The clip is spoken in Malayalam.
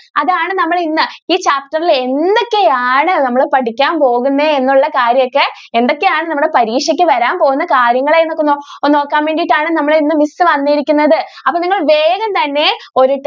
അതാണ് നമ്മൾ ഇന്ന് ഈ chapter ൽ എന്തൊക്കെ ആണ് നമ്മൾ പഠിക്കാൻ പോകുന്നത് എന്നുള്ള കാര്യം ഒക്കെ എന്തൊക്കെ ആണ് നിങ്ങളുടെ പരീക്ഷയ്ക്ക് വരാൻ പോകുന്ന കാര്യങ്ങൾ എന്നൊക്കെ നോക്കാൻ വേണ്ടിട്ട് ആണ് നമ്മൾ ഇന്ന് miss വന്നിരിക്കുന്നത്. അപ്പൊ നിങ്ങൾ വേഗം തന്നെ ഒരു